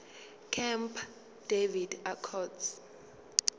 camp david accords